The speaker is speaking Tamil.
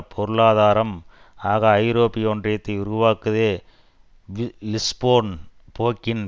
பொருளாதாரம் ஆக ஐரோப்பிய ஒன்றியத்தை உருவாக்குவதே லிஸ்போன் போக்கின்